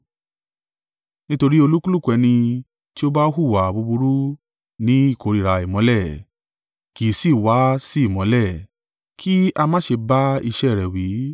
Nítorí olúkúlùkù ẹni tí ó bá hùwà búburú ní ìkórìíra ìmọ́lẹ̀, kì í sì í wá sí ìmọ́lẹ̀, kí a má ṣe bá iṣẹ́ rẹ̀ wí.